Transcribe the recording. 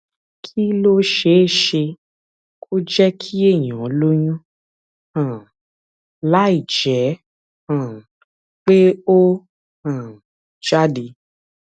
kí ló ṣeé ṣe kó jé kí èèyàn lóyún um láìjé um pé ó um jáde